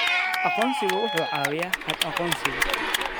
Aqoonsigu wuxuu caawiyaa habka aqoonsiga.